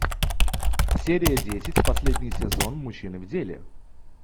серия десять последний сезон мужчины в деле